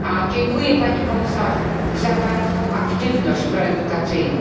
Dziękuję Panie Komisarzu za Pańską aktywność proedukacyjną.